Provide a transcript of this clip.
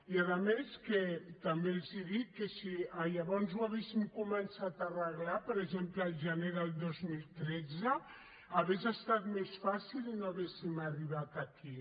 i a més també els dic que si llavors ho haguéssim començat a arreglar per exemple al gener del dos mil tretze hauria estat més fàcil i no hauríem arribat aquí